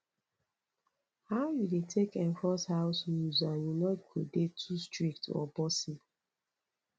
how you dey take enforce house rules and you no go dey too strict or bossy